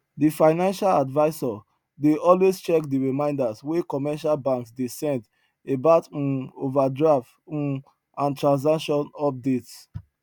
di financial advisor dey always check di reminders wey commercial banks dey send about um overdraft um and transaction updates